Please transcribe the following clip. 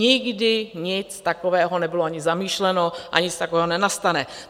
Nikdy nic takového nebylo ani zamýšleno a nic takového nenastane.